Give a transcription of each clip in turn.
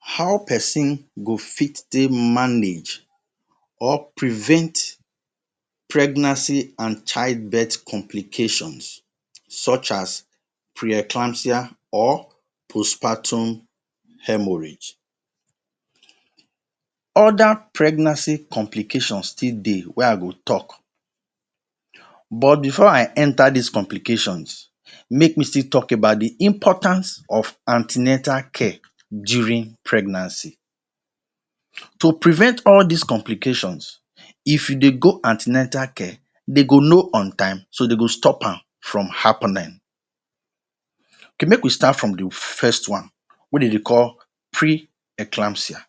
How peson go fit take manage or prevent pregnancy an childbirth complications such as pre-eclampsia or post-partum hemorrhage? Other pregnancy complication still dey wey I go talk, but before I enter dis complications, make me still talk about the importance of an ten atal care during pregnancy. To prevent all dis complications, if you dey go an ten atal care, de go know on time so de go stop am from happening; Okay make we start from the first one wey de dey call pre-eclampsia.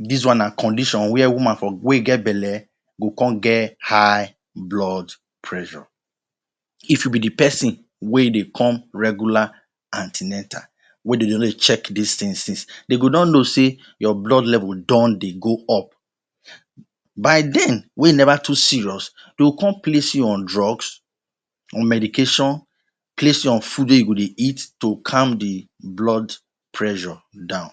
Dis one na condition where woman for wey get belle go con get high blood pressure. If e be the peson wey dey come regular an ten atal wey de don dey check dis tins since, de go don know sey your blood level don dey go up. By then wey e neva too serious, de go con place you on drugs, on medication, place you on food wey go dey eat to calm the blood pressure down.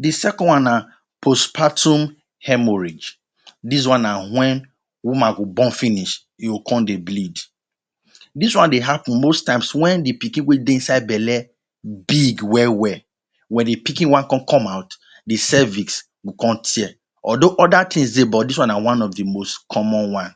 The second one na post-partum hemorrhage. Dis one na wen woman go born finish, e go con dey bleed. Dis one dey happen most times wen the pikin wey dey inside belle big well-well. Wen the pikin wan con come out, the cervix go con tear. Although other tins dey, but dis one na one of the most common one.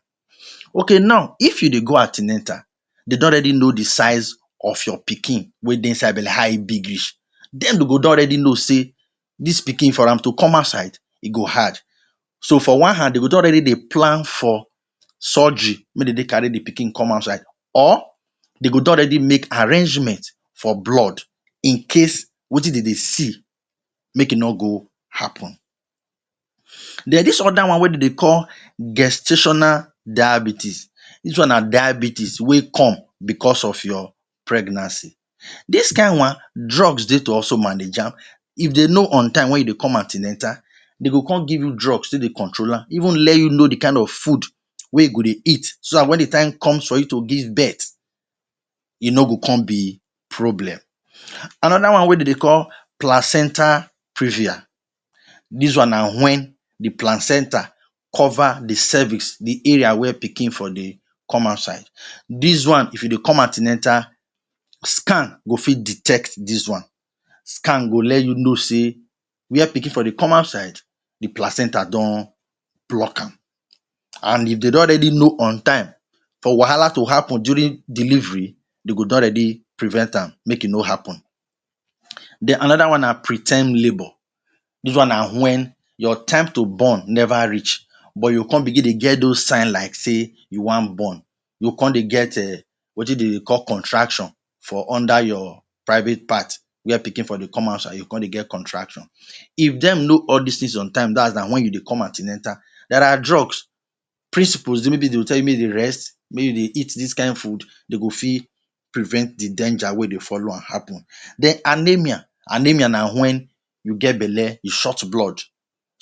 Okay now, if you dey go an ten atal, de don already know the size of your pikin wey dey inside belle – how e big reach, then de go don ready know sey dis pikin for am to come outside, e go hard. So, for one hand, de don already dey plan for surgery – make de dey carry the pikin outside. Or de gon don already make arrangement for blood in case wetin dey de see make e no go happen. Then dis other one wey de dey call gestational diabetes. Dis one na diabetes wey come becos of your pregnancy. Dis kain one, drugs dey to also manage am. If de know on time wen you dey come an ten atal, de go con give you drugs take dey control am, even let you know the kain of food wey e go de eat so dat wen the time comes for you to give birth, e no go con be problem. Another one wey de dey call placenta previa. Dis one na wen the placenta cover the cervix – the area where piking for dey come outside. Dis one, if you dey come an ten atal, scan go fit detect dis one. Scan go let you know sey where pikin for dey come outside the placenta don block am. An if de don already know on time, for wahala to happen during delivery, de go don ready prevent am make e no happen. Then another one na pre ten d labour. Dis one na wen your time to born neva reach but you go con begin dey get dos signs like sey you wan born, you go con dey get um wetin de dey call contraction for under your private part where pikin for dey come outside. You go con dey get contraction. If dem know all dis tins on time – dat’s na wen you dey come an ten atal, there are drugs, principles – maybe de will tell you make e dey rest, make you dey eat dis kain food, dey go fit prevent the danger wey dey follow am happen. Then anemia. Anemia na wen you get belle, you short blood.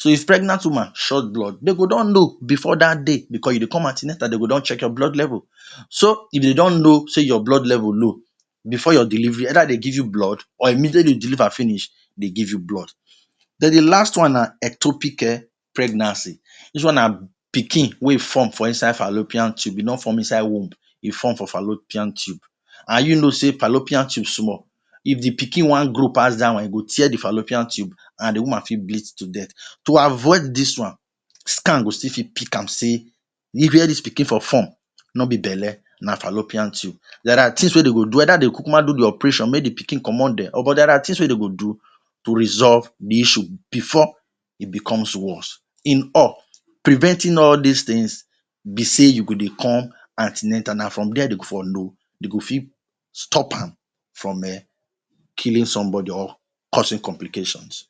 If pregnant woman short blood, de go don know before dat day becos you dey come an ten atal de go don check your blood level. So, if de don know sey your blood level low, before your delivery, either de give your blood or immediately you deliver finish, dey give you blood. Then the last one na ectopic um pregnancy. Dis one na pikin wey form for inside fallopian tube, e nor form inside womb, e form for fallopian tube. An you know sey fallopian tube small. If the pikin wan grow pass dat one, e go tear the fallopian tube, an the woman fit bleed to death. To avoid dis one, scan go still fit pick am sey where dis for form no be belle, na fallopian tube. There are tins wey de go do either de kuku ma do the operation make the pikin comot there there are tins wey de go do to resolve the issue before e becomes worse. In all, preventing all dis tins be sey you go dey come an ten atal. Na from dia de go for know, de go fit stop am from um killing somebody or causing complications.